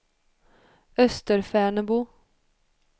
Österfärnebo